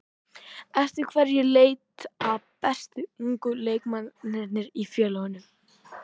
Eftir hverju leita bestu ungu leikmennirnir í félögunum?